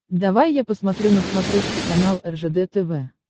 давай я посмотрю на смотрешке канал ржд тв